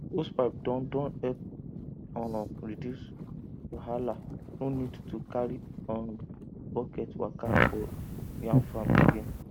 hosepipe don don help um reduce wahalano need to carry um bucket waka for yam farm again